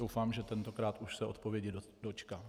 Doufám, že tentokrát už se odpovědi dočkám.